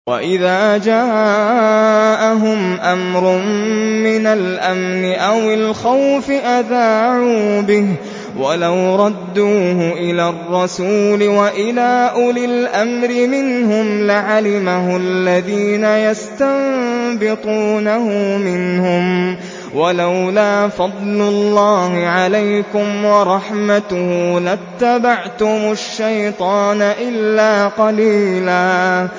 وَإِذَا جَاءَهُمْ أَمْرٌ مِّنَ الْأَمْنِ أَوِ الْخَوْفِ أَذَاعُوا بِهِ ۖ وَلَوْ رَدُّوهُ إِلَى الرَّسُولِ وَإِلَىٰ أُولِي الْأَمْرِ مِنْهُمْ لَعَلِمَهُ الَّذِينَ يَسْتَنبِطُونَهُ مِنْهُمْ ۗ وَلَوْلَا فَضْلُ اللَّهِ عَلَيْكُمْ وَرَحْمَتُهُ لَاتَّبَعْتُمُ الشَّيْطَانَ إِلَّا قَلِيلًا